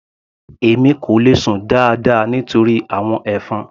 Èmi kò le sùn dáadáa nítorí àwọn ẹ̀fọn.